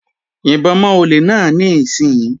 Yìnbọn mọ́ olè náà níìsín!